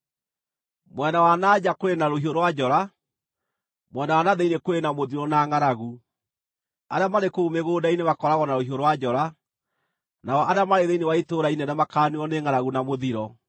“ ‘Mwena wa na nja kũrĩ na rũhiũ rwa njora, mwena wa na thĩinĩ kũrĩ na mũthiro na ngʼaragu; arĩa marĩ kũu mĩgũnda-inĩ makooragwo na rũhiũ rwa njora, nao arĩa marĩ thĩinĩ wa itũũra inene makaaniinwo nĩ ngʼaragu na mũthiro.